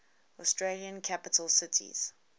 australian capital cities